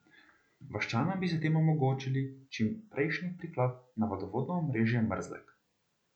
Vaščanom bi s tem omogočili čimprejšnji priklop na vodovodno omrežje Mrzlek.